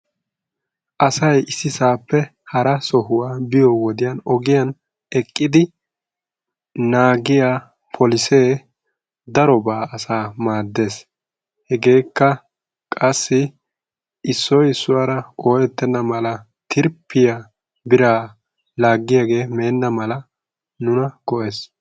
asay issi sohuwaappe hara sohuwaaa biyoo wodiyan ogiyaan eqqidi naagiyaa poolissee daroobaa asaa maaddees. hegeekka qassi issoy issuwaara oyettena mala tirfiyaa biraa lagiyaagee menna mala nuna qohees.